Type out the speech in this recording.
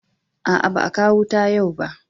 A'a, baa kawo wuta yau ba.